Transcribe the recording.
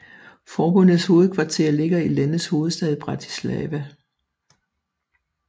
Forbundets hovedkvarter ligger i landets hovedstad Bratislava